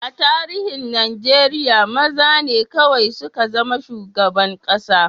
A tarihin Najeriya, maza ne kawai suka zama shugaban kasa.